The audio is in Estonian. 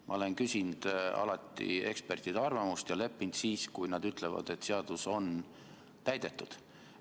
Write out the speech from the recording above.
Ma olen alati küsinud ekspertide arvamust ja leppinud siis, kui nad ütlevad, et seadus on täidetud.